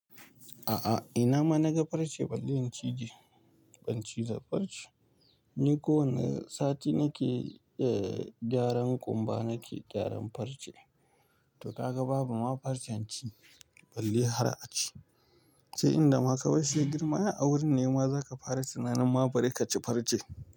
A'a, ina ma na ga farce, balle in ci je. Ban ci za farce. Ni kowane sati nake gyaran ƙumba, nake gyaran farce. To ka ga babu ma farcen ci, balle har a ci. Sai in da ma ka kai shi girma a wurin nema za ka fara tunanin ma bari ka ci farce.